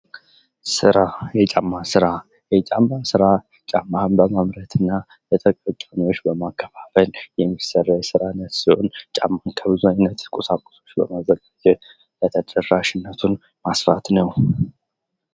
ስራ የጫማ ስራ የጫማ ስራ ጫማ በማምረት እና ለተጠቃሚዎች በማከፋፈል የሚሰራ የስራ አይነት ሲሆን ጫማን ከብዙ ዓይነት ቁሳቁሶች በማዘጋጀት ተደራሽነቱን ማስፋት ነው ።